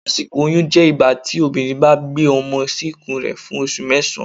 asikọ̀ oyún jẹ ígbatí obinrín ba gbe ọmọ sí ikun rẹ fún osù mẹsan.